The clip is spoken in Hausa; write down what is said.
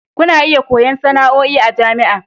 Kuna iya koyon sana'a a jami'a.